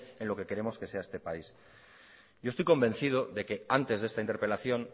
en lo que queremos que sea este país yo estoy convencido de que antes de esta interpelación